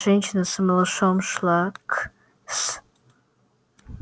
женщина с малышом шла к с